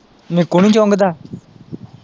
ਨਿੱਕੂ ਨੀ ਚੁੰਗਦਾ?